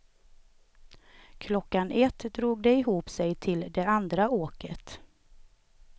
Klockan ett drog det ihop sig till det andra åket.